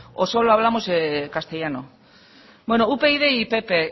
o solo hablamos castellano bueno upyd y pp